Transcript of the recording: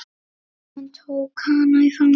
Hann tók hana í fangið.